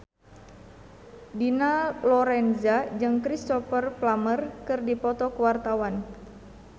Dina Lorenza jeung Cristhoper Plumer keur dipoto ku wartawan